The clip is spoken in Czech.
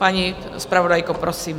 Paní zpravodajko, prosím.